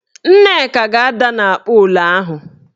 Nneka ga-ada n'akpoola ahụ.